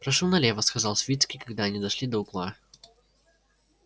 прошу налево сказал свицкий когда они дошли до угла